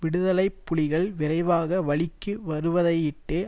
விடுதலை புலிகள் விரைவாக வழிக்கு வருவதையிட்டு